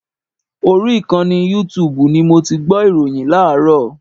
Orí ìkànnì yútuùbù ni mo ti gbọ́ ìròyìn láàárọ̀.